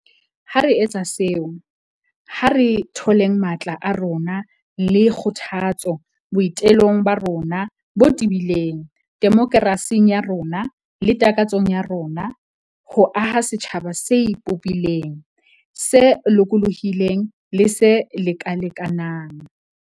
Ha re etsa seo, ha re tholeng matla a rona le kgothatso boi telong ba rona bo tebileng demokerasing ya rona le takatsong ya rona ya ho aha setjhaba se ipopileng, se lokolohileng le se lekalekanang.